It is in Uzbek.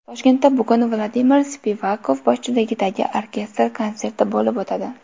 Toshkentda bugun Vladimir Spivakov boshchiligidagi orkestr konserti bo‘lib o‘tadi.